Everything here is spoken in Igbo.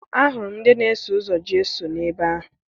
Ahụrụ m ndị na-eso ụzọ Jeso n'ebe ahụ